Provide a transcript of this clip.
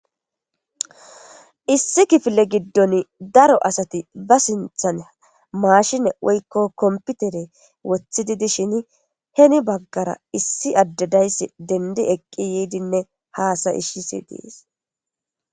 issi kifile giddon daro asati ba sinthan maashine woykko komputere woththi dishin heni baggara issi addedayss dendi eqqi yiidinne haasa ishshisi dees.